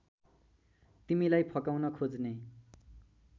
तिमीलाई फकाउन खोज्ने